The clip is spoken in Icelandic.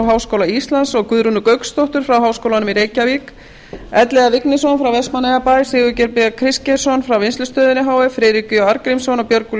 háskóla íslands guðrúnu gauksdóttur frá háskólanum í reykjavík elliða vignisson frá vestmannaeyjabæ sigurgeir b kristgeirsson frá vinnslustöðinni h f friðrik j arngrímsson og björgólf